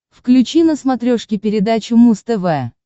включи на смотрешке передачу муз тв